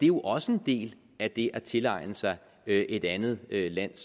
jo også en del af det at tilegne sig et andet lands